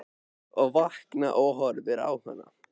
Og vakna og horfi á hana.